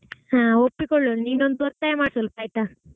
ಹಾ ಒಪ್ಪಿಕೊಳ್ಳುವಳು ನೀನೊಂದು ಒತ್ತಾಯ ಮಾಡು ಸ್ವಲ್ಪ ಆಯ್ತಾ.